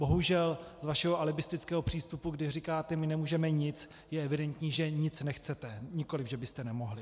Bohužel z vašeho alibistického přístupu, kdy říkáte my nemůžeme nic, je evidentní, že nic nechcete, nikoliv že byste nemohli.